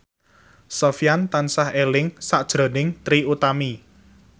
Sofyan tansah eling sakjroning Trie Utami